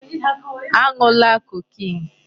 A ṅụla cocaine!